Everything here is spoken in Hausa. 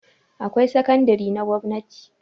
Akwai sakandare na gwanti